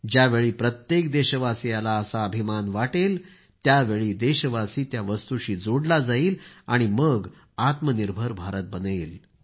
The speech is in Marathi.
ज्यावेळी प्रत्येक देशवासीयाला असा अभिमान वाटेल त्यावेळी देशवासी त्या वस्तूशी जोडला जाईल आणि मग आत्मनिर्भर भारत बनेल